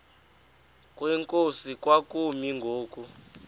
kwenkosi kwakumi ngoku